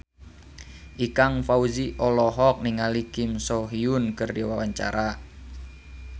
Ikang Fawzi olohok ningali Kim So Hyun keur diwawancara